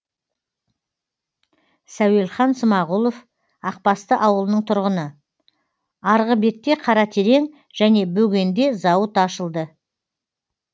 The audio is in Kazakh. сәуелхан смағұлов ақбасты ауылының тұрғыны арғы бетте қаратерең және бөгенде зауыт ашылды